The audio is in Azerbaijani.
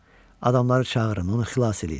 Adamları çağırın, onu xilas eləyin.